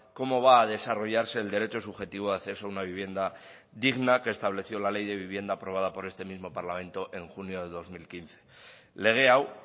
cómo va a desarrollarse el derecho subjetivo a acceso a una vivienda digna que estableció la ley de vivienda aprobada por este mismo parlamento en junio de dos mil quince lege hau